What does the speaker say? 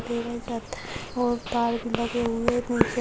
और पार्क लगे हुए --